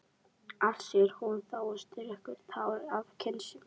Allt, segir hún þá og strýkur tár af kinn sinni.